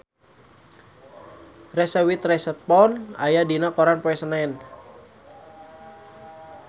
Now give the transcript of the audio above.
Reese Witherspoon aya dina koran poe Senen